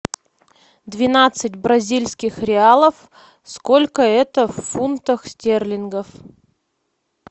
двенадцать бразильских реалов сколько это в фунтах стерлингов